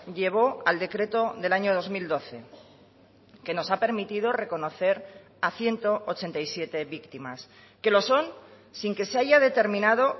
llevó al decreto del año dos mil doce que nos ha permitido reconocer a ciento ochenta y siete víctimas que lo son sin que se haya determinado